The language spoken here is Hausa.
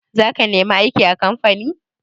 Za ka nemi aiki a kamfani?